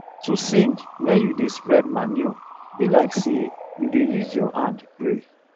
to sing when you da spread manure be like say u da use ur hand pray